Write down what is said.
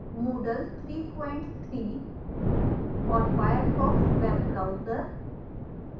moodle 33 और firefox web browser